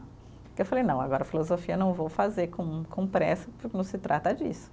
Porque eu falei, não, agora filosofia eu não vou fazer com com pressa, porque não se trata disso.